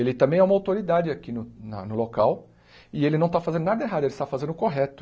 Ele também é uma autoridade aqui no na no local e ele não está fazendo nada errado, ele está fazendo o correto.